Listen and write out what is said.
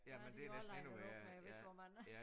Der er de jo også linet op med jeg ved ikke hvor mange